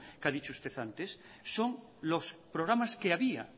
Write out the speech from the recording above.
que ha dicho usted antes son los programas que había